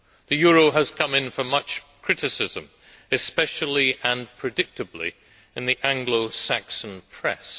The euro has come in for much criticism, especially and predictably in the Anglo Saxon press.